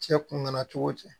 Cɛ kun nana cogo di